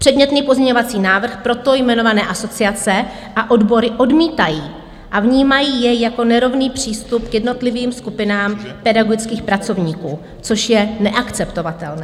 Předmětný pozměňovací návrh proto jmenované asociace a odbory odmítají a vnímají jej jako nerovný přístup k jednotlivým skupinám pedagogických pracovníků, což je neakceptovatelné.